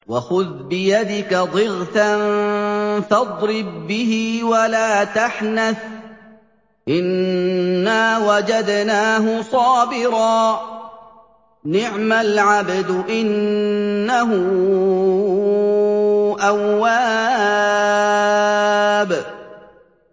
وَخُذْ بِيَدِكَ ضِغْثًا فَاضْرِب بِّهِ وَلَا تَحْنَثْ ۗ إِنَّا وَجَدْنَاهُ صَابِرًا ۚ نِّعْمَ الْعَبْدُ ۖ إِنَّهُ أَوَّابٌ